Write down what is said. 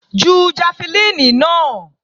Ju jafẹlíìnì náà!